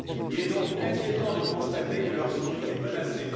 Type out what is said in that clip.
Il est donc inquiétant de constater que leur survie est menacée.